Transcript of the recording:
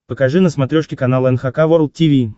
покажи на смотрешке канал эн эйч кей волд ти ви